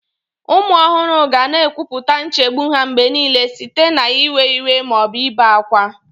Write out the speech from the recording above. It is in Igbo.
Ụmụ ohuru ga na-ekwupụta nchegbu ha mgbe niile site n'iwe iwe ma ọ bụ ibe ákwá.